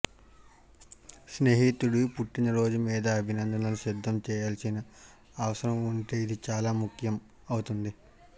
స్నేహితుడి పుట్టినరోజు మీద అభినందనలు సిద్ధం చేయాల్సిన అవసరం ఉంటే ఇది చాలా ముఖ్యం అవుతుంది